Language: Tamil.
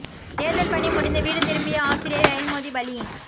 தேர்தல் பணி முடிந்து வீடு திரும்பிய ஆசிரியை ரயில் மோதி பலி